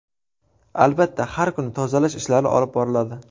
Albatta, har kuni tozalash ishlari olib boriladi.